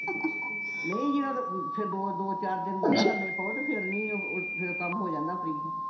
ਨਹੀਂ ਯਾਰ ਦੋ ਦੋ ਚਾਰ ਦਿਨ ਨਾ ਲੱਮੇ ਪਾਓ ਤੇ ਫੇਰ ਨਹੀਂ ਓਹ ਫੇਰ ਕੰਮ ਹੋ ਜਾਂਦਾ ਫ਼੍ਰੀ